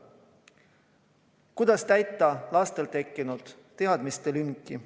Kuidas täita lastel tekkinud teadmistelünki?